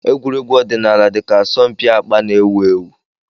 Egwuregwu ọdịnala dị ka asọmpi akpa na-ewu ewu.